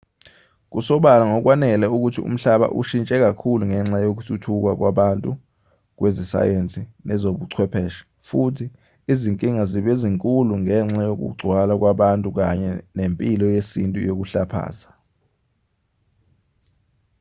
kusobala ngokwanele ukuthi umhlaba ushintshe kakhulu ngenxa yokuthuthuka kwabantu kwezesayensi nezobuchwepheshe futhi izinkinga zibe zinkulu ngenxa yokugcwala kwabantu kanye nempilo yesintu yokuhlaphaza